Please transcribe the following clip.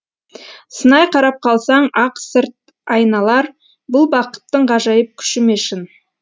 сынай қарап қалсаң ақ сырт айналар бұл бақыттың ғажайып күші ме шын